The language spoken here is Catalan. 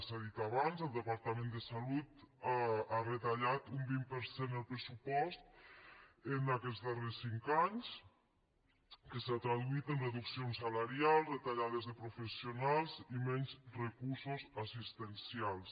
s’ha dit abans el departament de salut ha retallat un vint per cent el pressupost en aquests darrers cinc anys que s’ha traduït en reduccions salarials retallades de professionals i menys recursos assistencials